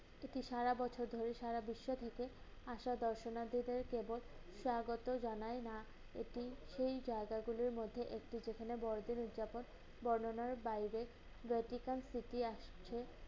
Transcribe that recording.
সেটি সারা বছর ধরে সারা বিশ্ব থেকে আসা দর্শনার্থীদের কেবল স্বাগত জানায় না, এটি সেই জায়গাগুলোর মধ্যে একটি যেখানে বড়দিন উৎযাপন বর্ণনার বাইরে Vatican city আসছে।